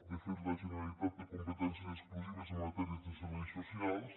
de fet la generalitat té competències exclusives en matèria de serveis socials